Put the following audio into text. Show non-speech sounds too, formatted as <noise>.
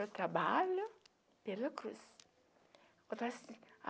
Eu trabalho pela cruz. <unintelligible>